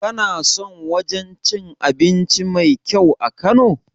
Ka san wajen cin abinci mai kyau a kano?